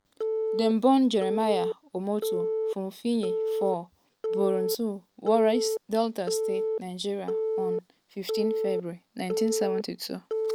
dem born jeremiah omoto fufeyin for burutu warri delta state nigeria on um 15 february 1972.